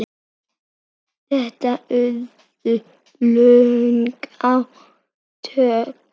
Þetta urðu löng átök.